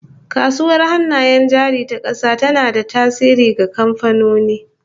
Kasuwar Hannayen Jari ta kasa tana da tasiri ga kamfanoni